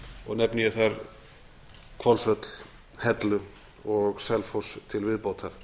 og nefni ég þar hvolsvöll hellu og selfoss til viðbótar